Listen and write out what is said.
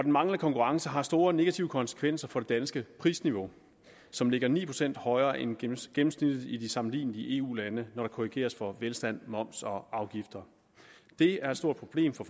manglende konkurrence har store negative konsekvenser for det danske prisniveau som ligger ni procent højere end gennemsnittet i de sammenlignelige eu lande når der korrigeres for velstand moms og afgifter det er et stort problem for